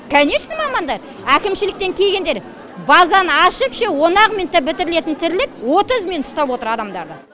конечно мамандар әкімшіліктен келгендер базаны ашып ше он ақ минутта бітірілетін тірлік отыз минут ұстап отыр адамдарды